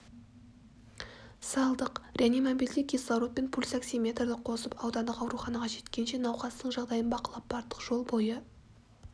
салдық реанимобильде кислород пен пульсоксиметрді қосып аудандық ауруханаға жеткенше науқастың жағдайын бақылап бардық жол бойы